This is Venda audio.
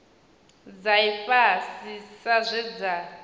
dza ifhasi sa zwe dza